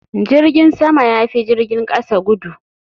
Jirgin sama ya fi jirgin kasa gudu.